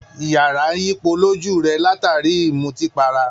Iyàrá ń yípo lójú rẹ̀, látàrí i ìmùtípatara